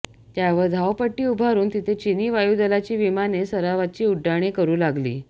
त्यावर धावपट्टी उभारून तिथे चिनी वायुदलाची विमाने सरावाची उड्डाणे करू लागली